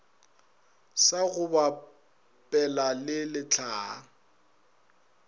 sa go bapela le lehlaa